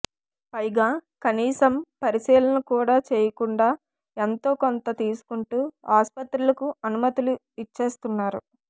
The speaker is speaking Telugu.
పైగా కనీసం పరిశీలన కూడా చేయకుండా ఎంతో కొంత తీసుకుంటూ ఆస్పత్రులకు అనుమతులు ఇచ్చేస్తున్నారు